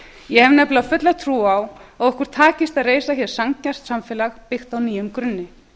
ég hef nefnilega fulla trú á að okkur takist að reisa hér sanngjarnt samfélag byggt á nýjum grunni